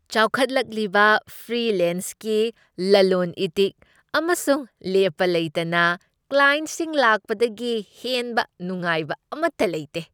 ꯆꯥꯎꯈꯠꯂꯛꯂꯤꯕ ꯐ꯭ꯔꯤꯂꯦꯟꯁꯒꯤ ꯂꯂꯣꯟ ꯏꯇꯤꯛ ꯑꯃꯁꯨꯡ ꯂꯦꯞꯄ ꯂꯩꯇꯅ ꯀ꯭ꯂꯥꯏꯟꯠꯁꯤꯡ ꯂꯥꯛꯄꯗꯒꯤ ꯍꯦꯟꯕ ꯅꯨꯡꯉꯥꯏꯕ ꯑꯃꯠꯇ ꯂꯩꯇꯦ ꯫